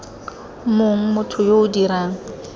mong motho yo o dirang